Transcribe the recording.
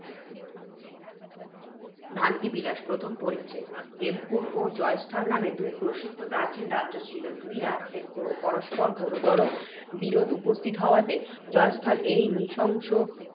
ভ্রান্তি বিলাস, প্রথম পরিচ্ছেদ। হেমকূট ও জয়স্থল নামে দুই প্রসিদ্ধ প্রাচীন রাজ্য ছিল। দুই রাজ্যের পরস্পর ঘোরতর বিরোধ উপস্থিত হওয়াতে, জয়স্থলে এই নৃশংস